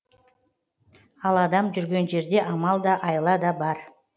ал адам жүрген жерде амал да айла да бар